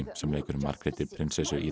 sem leikur Margréti prinsessu í